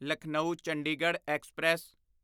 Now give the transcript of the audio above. Lucknow Chandigarh express